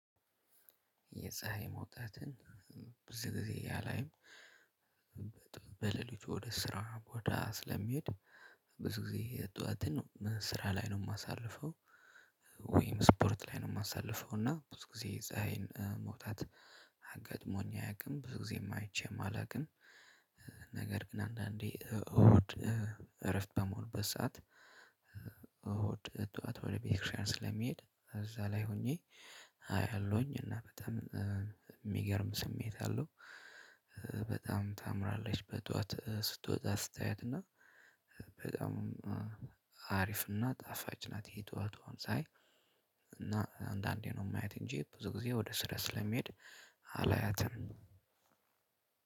የፀሀይ መውጣትን ብዙ ጊዜ አላይም። በሌሊቱ ወደ ስራ ቦታ ስለሚሄድ ብዙ ጊዜ ጠዋትን ስራ ላይ ነው የማሳልፈው፣ ወይም ስፖርት ላይ ነው የማሳልፈው እና ብዙ ጊዜ የፀሀይ መውጣት ገጥሞኝ አያውቅም ብዙ ጊዜም አይቼም አላውቅም። ነገር ግን አንዳንዴ እሁድ እረፍት በምውልበት ሰዓት፣ እሁድ ጠዋት ወደ ቤተክርስቲያን ስለሚሄድ እዛ ላይ ሆኜ አያለሁኝ እና በጣም የሚገርም ስሜት አለው። በጣም ታምራለች በጠዋት ስትወጣ ስታያት እና በጣም አሪፍ እና ጣፋጭ ናት የጠዋቷ ፀሀይ እና አንዳንዴ ነው የማያት እንጂ ብዙ ጊዜ ወደ ስራ ስለሚሄድ አላያትም።